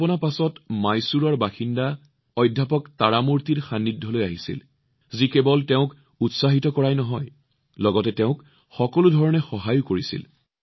কল্পনাই পিছত মহীশূৰৰ বাসিন্দা অধ্যাপক তাৰামূৰ্তিৰ সংস্পৰ্শলৈ আহিছিল যিয়ে কেৱল তেওঁক উৎসাহিত কৰাই নহয় সকলো ধৰণে সহায়ো কৰিছিল